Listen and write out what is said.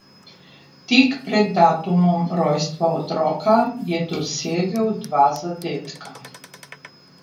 Tik pred datumom rojstva otroka je dosegel dva zadetka.